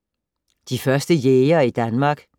De første jægere i Danmark